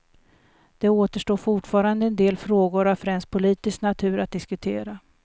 Det återstår fortfarande en del frågor av främst politisk natur att diskutera.